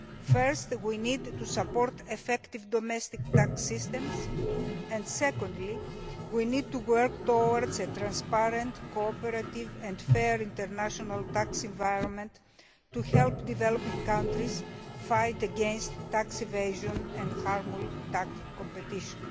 First, we need to support effective domestic tax systems and, secondly, we need to work towards a transparent, cooperative and fair international tax environment to help developing countries fight against tax evasion and harmful tax competition.